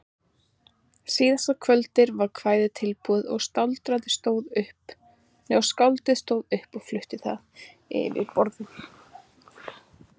Síðasta kvöldið var kvæðið tilbúið og skáldið stóð upp og flutti það yfir borðum.